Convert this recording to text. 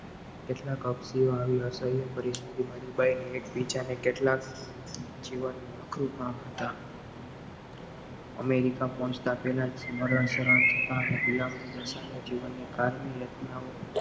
કેટલાક આવી પરિસ્થિતિ માં ડુબાડી ને કેટલાક જીવનનું હતા અમેરિકા પહોંચતા પહેલાં જ મરણ સ્મરણ થતાં ગુલામો બધાને જીવનની કારણે રચનાઓ